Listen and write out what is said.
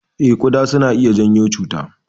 Eh, kuɗa suna iya janyo cuta.